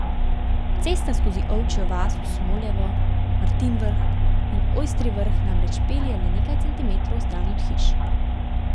Cesta skozi Ovčjo vas v Smolevo, Martinj Vrh in Ojstri Vrh namreč pelje le nekaj centimetrov stran od hiš.